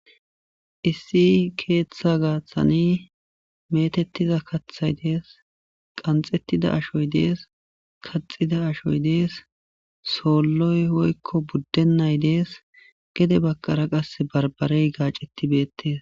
issi keeththa gaaththani metettiza kathay dees qanxettida ashoy dees kaxida ashoy dees soolloy woykko buddennay dees gede bagara qase barbarey gaaceti beettees